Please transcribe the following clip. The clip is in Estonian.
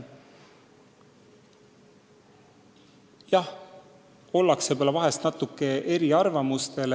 Jah, võib-olla ollakse mõnes asjas natuke eri arvamustel.